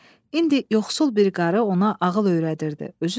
İndi yoxsul bir qarı ona ağıl öyrədirdi.